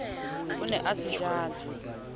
o ne a se jala